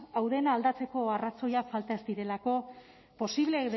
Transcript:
hau dena aldatzeko arrazoiak falta ez direlako posible